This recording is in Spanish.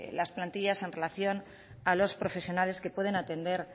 las plantillas en relación a los profesionales que pueden atender